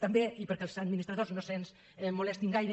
també i perquè els administradors no se’ns molestin gaire